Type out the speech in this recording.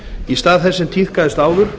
í stað þess sem tíðkaðist áður